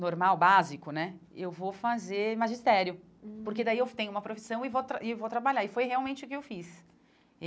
normal, básico né, eu vou fazer magistério, hum porque daí eu tenho uma profissão e vou tra e vou trabalhar, e foi realmente o que eu fiz.